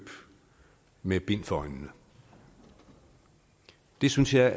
med bind for øjnene det synes jeg